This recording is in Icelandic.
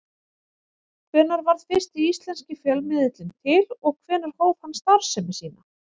Hvenær varð fyrsti íslenski fjölmiðillinn til og hvenær hóf hann starfsemi sína?